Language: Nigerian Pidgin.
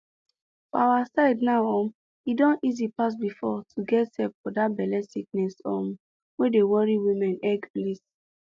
for our side now um e don easy pass before to get help for that belle sickness um wey dey worry woman egg place